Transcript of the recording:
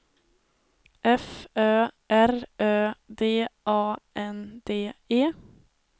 F Ö R Ö D A N D E